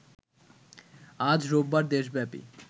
আজ রোববার দেশব্যাপী